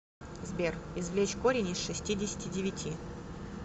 сбер извлечь корень из шестидесяти девяти